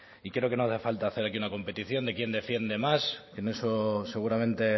y creo que no hace falta hacer aquí una competición de quién defiende más en eso seguramente